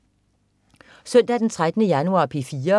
Søndag den 13. januar - P4: